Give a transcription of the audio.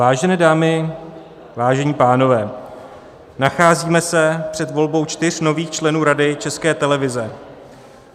Vážené dámy, vážení pánové, nacházíme se před volbou čtyř nových členů Rady České televize.